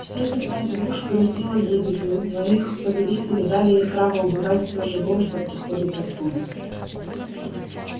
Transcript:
северная глушь грозила гибелью но их повелители дали им право убивать всё живое что приходит оттуда